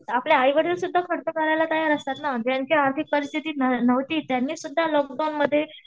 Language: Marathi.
आपले आई वडील सुद्धा खर्च करायला तयार असतात ना. ज्यांची आर्थिक परिस्थिती नव्हती त्यांनी सुद्धा लॉकडाऊनमध्ये